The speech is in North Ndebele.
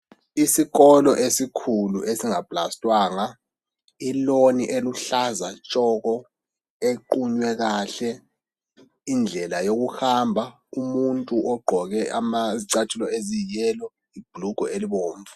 Isikolo esikhulu esingaplastangwa iloni oluhlaza tshoko equnywe kahle indlela yokuhamba umuntu ogqoke izicathulo eziyiyelo ibhurungwe elibomvu.